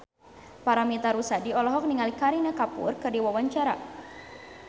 Paramitha Rusady olohok ningali Kareena Kapoor keur diwawancara